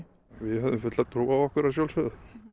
við höfðum fulla trú á okkur að sjálfsögðu